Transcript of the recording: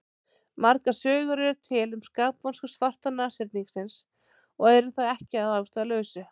Margar sögur eru til um skapvonsku svarta nashyrningsins og er það ekki að ástæðulausu.